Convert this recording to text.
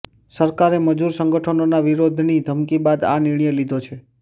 સરકારે મજૂર સંગઠનોના વિરોધની ધમકી બાદ આ નિર્ણય લીધો છે